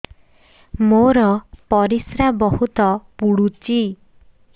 ମୋର ପରିସ୍ରା ବହୁତ ପୁଡୁଚି